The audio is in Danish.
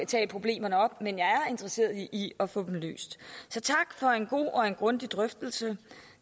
tale problemerne op men jeg er interesseret i at få dem løst så tak for en god og grundig drøftelse